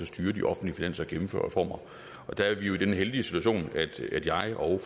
styre de offentlige finanser og gennemføre reformer og der er vi jo i den heldige situation at jeg og